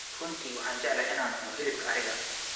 Runtii waxaan jeclahay inaan cuno hilibka ariga.